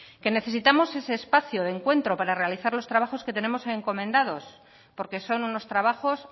que necesitamos ese espacio de encuentro para realizar los trabajos que tenemos encomendados porque son unos trabajos